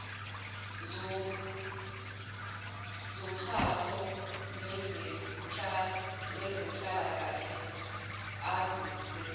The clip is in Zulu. zoxhso lwezenhlalakahle azise